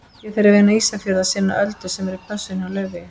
Ég þarf inn á Ísafjörð að sinna Öldu sem er í pössun hjá Laufeyju.